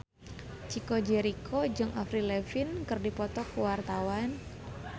Chico Jericho jeung Avril Lavigne keur dipoto ku wartawan